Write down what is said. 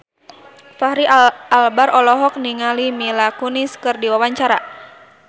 Fachri Albar olohok ningali Mila Kunis keur diwawancara